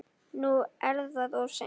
Nú er það of seint.